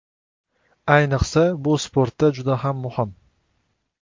Ayniqsa, bu sportda juda ham muhim.